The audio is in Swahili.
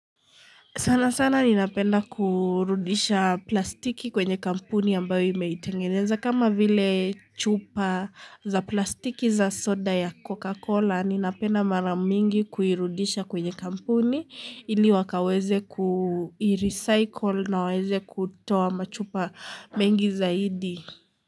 Sana sana ninapenda kurudisha plastiki kwenye kampuni ambayo imeitengeneza kama vile chupa za plastiki za soda ya Coca-Cola ninapenda mara mingi kuirudisha kwenye kampuni ili wakaweze kuirecycle na waweze kutoa machupa mengi zaidi.